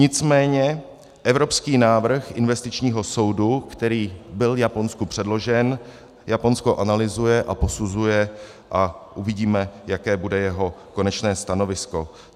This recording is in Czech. Nicméně evropský návrh investičního soudu, který byl Japonsku předložen, Japonsko analyzuje a posuzuje a uvidíme, jaké bude jeho konečné stanovisko.